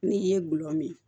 N'i ye gulɔ min